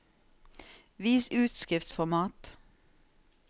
Vis utskriftsformat